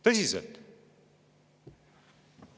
Tõsiselt!